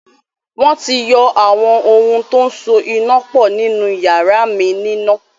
Wọ́n ti yọ àwọn ohun tó so iná pọ̀ nínu yàrá mi níná